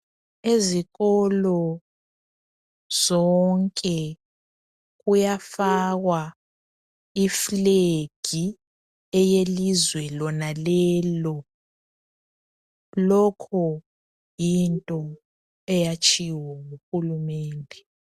Ezikolo zonke kuyafakwa iflag eyelizwe lonalelo lokhu yinto eyatshiwo nguhulumende.